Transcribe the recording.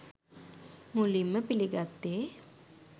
මුලින්ම පිළිගත්තේ